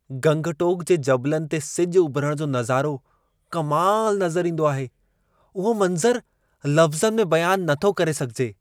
गंगटोक जे जबलनि ते सिजु उभरण जो नज़ारो कमाल नज़र ईंदो आहे! उहो मंज़रु लफ़्ज़नि में बयान नथो करे सघिजे।